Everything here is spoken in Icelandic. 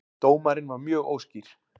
Dómarinn var mjög óskýr